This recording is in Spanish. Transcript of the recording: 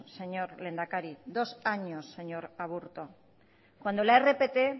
señor lehendakari dos años señor aburto cuando la rpt